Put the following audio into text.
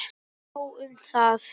Nóg um það!